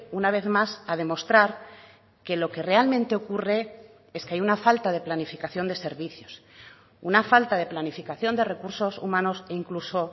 una vez más a demostrar que lo que realmente ocurre es que hay una falta de planificación de servicios una falta de planificación de recursos humanos e incluso